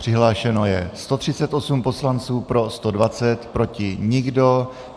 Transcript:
Přihlášeno je 138 poslanců, pro 120, proti nikdo.